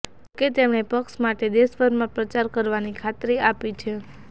જો કે તેમણે પક્ષ માટે દેશભરમાં પ્રચાર કરવાની ખાતરી આપી છે